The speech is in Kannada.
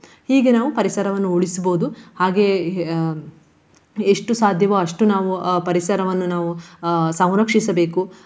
ಹೀಗೆ ನಾವು ಪರಿಸರವನ್ನು ಉಳಿಸ್ಬಹುದು. ಹಾಗೆಯೇ ಎಷ್ಟು ಸಾಧ್ಯವೋ ಅಷ್ಟು ನಾವು ಅಹ್ ಪರಿಸರವನ್ನು ನಾವು ಅಹ್ ಸಂರಕ್ಷಿಸಬೇಕು.